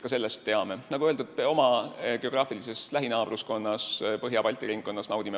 Nagu öeldud, me naudime väga-väga tugevat toetust oma geograafilises lähinaabruskonnas, Põhja-Balti ringkonnas.